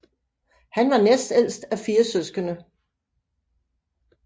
Han var næstældst af fire søskende